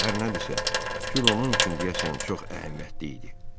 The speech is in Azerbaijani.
Hər nədirsə, gül onun üçün deyəsən çox əhəmiyyətli idi.